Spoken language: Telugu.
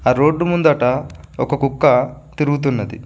ఆ రోడ్డు ముందట ఒక కుక్క తిరుగుతున్నది.